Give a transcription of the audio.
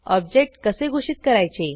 object कसे घोषित करायचे